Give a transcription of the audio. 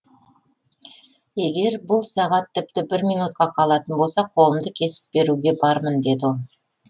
егер бұл сағат тіпті бір минутқа қалатын болса қолымды кесіп беруге бармын деді ол